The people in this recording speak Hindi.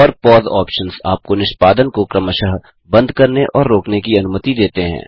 और पौसे ऑप्शन्स आपको निष्पादन को क्रमशः बंद करने और रोकने की अनुमति देते हैं